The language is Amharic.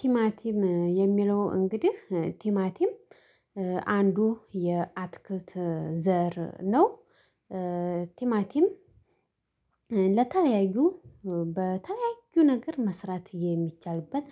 ቲማቲም የሚለው እንግዲህ ቲማቲም አንዱ የአትክልት ዘር ነው። ቲማቲም ለተለያዩ በተለያዩ ነገር መስራት የሚቻልበት